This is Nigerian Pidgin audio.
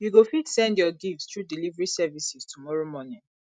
you go fit send your gifts through delivery services tomorrow morning